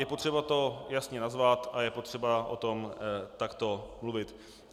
Je potřeba to jasně nazvat a je potřeba o tom takto mluvit.